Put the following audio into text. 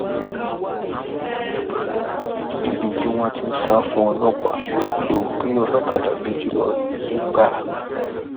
níbi tí wọn ti ń sá fún ọlọpàá odò gbé olókàdá méjì lọ nìgbára